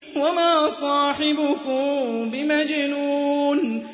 وَمَا صَاحِبُكُم بِمَجْنُونٍ